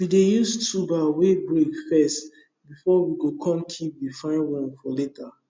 we dey use tuber wey break first before we go come keep the fine one for later